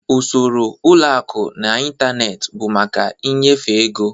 Usoro ụlọ akụ n'ịntanetị bụ maka ịnyefe ego.